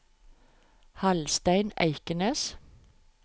Hallstein Eikenes